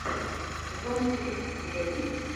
сезам стрит у тебя есть